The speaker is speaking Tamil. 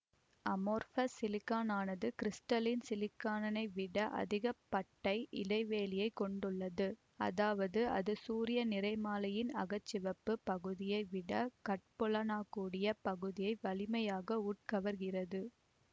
அமார்ஃபஸ் சிலிக்கானானது கிரிஸ்டலின் சிலிக்கானை விட அதிக பட்டை இடைவெளியை கொண்டுள்ளது அதாவது அது சூரிய நிறமாலையின் அக சிவப்பு பகுதியை விட கட்புலனாக கூடிய பகுதியை வலிமையாக உட்கவர்கிறது